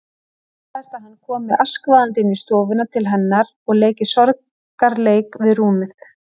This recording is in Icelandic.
Óttast að hann komi askvaðandi inn á stofuna til hennar og leiki sorgarleik við rúmið.